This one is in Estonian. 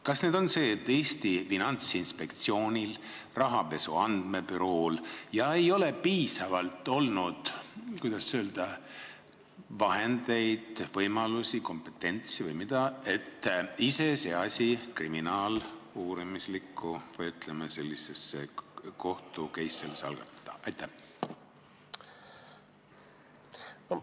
Kas probleem on see, et Eesti Finantsinspektsioonil ja rahapesu andmebürool ei ole piisavalt olnud vahendeid, võimalusi, kompetentsi või ma ei tea, mida, et niisuguse juhtumi korral kriminaaluurimislik kohtu-case algatada?